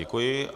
Děkuji.